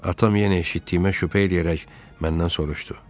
Atam yenə eşitdiyimə şübhə eləyərək məndən soruşdu.